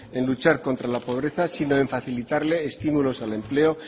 en luchar contra la pobreza sino en facilitarle estímulos al empleo